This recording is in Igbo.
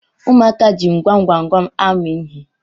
ụmụaka ji gwamgwamgwam amụ ihe